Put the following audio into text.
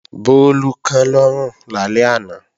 Bólú kán lọ́rùn lálẹ́ àná